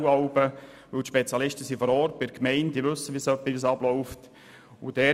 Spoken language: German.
Die Spezialisten sind bei den Gemeinden vor Ort und wissen etwa, wie es abläuft.